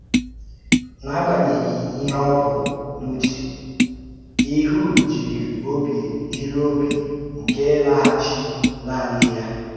N’agbanyeghị ihe ọ bụ n’uche, Ịhud jiri obi jiri obi ike laghachi nanị ya.